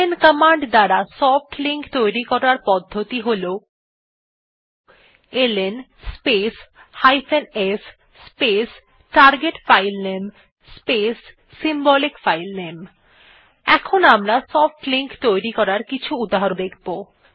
LN command দ্বারা soft link তৈরী করার পদ্ধতি হল LN space s space target filename space symbolic filename এখন আমরা সফ্ট লিঙ্ক তৈরী করার কিছু উহাহরণ দেখব